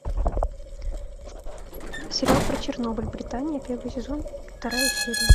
сериал про чернобыль британия первый сезон вторая серия